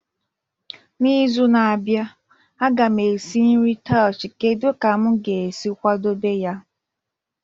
N'izu na-abịa, a ga m esi nri taushe kedu ka m ga-esi kwadebe ya?